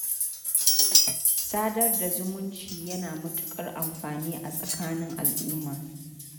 Sadar da zumunci yana da matuƙar amfani a tsakanin al'umma.